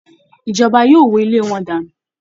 Ìjọba yóò wó ilé wọn dànù